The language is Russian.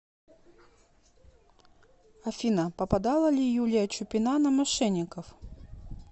афина попадала ли юлия чупина на мошенников